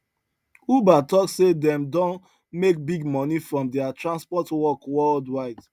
uber talk say dem don make big money from their transport work worldwide